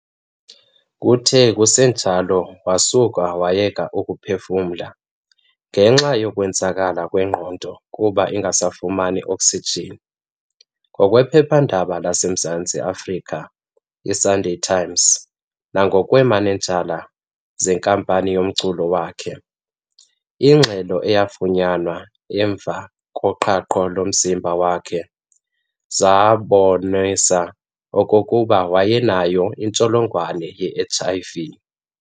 Kuthe kusenjalo wasuka wayeka ukuphefumla ngenxa yokwenzakala kwengqondo kuba ingasafumani oksijin. Ngokwephepha-ndaba laseMzantsi Afrika i"Sunday Times" nangokweemanejala zenkampani yomculo wakhe, ingxelo eyafunyanwa emva koqhahqo lomzimba wakhe zabonisa okokuba wayenayo nentsholongwane ye-HIV.